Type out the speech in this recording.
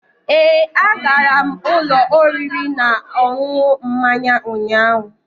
Ee, agara m ụlọ oriri na ọṅụṅụ mmanya ụnyaahụ.